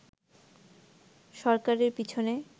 সরকারের পিছনে